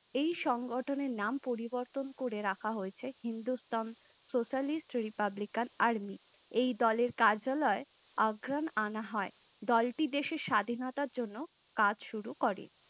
এই সংগঠনের নাম পরিবর্তন করে রাখা হয়েছে Hindustan Socialist Republican Army, এই দলের কার্যালয় আগ্রান আনা হয় । দলটি দেশের স্বাধীনতার জন্য কাজ শুরু করে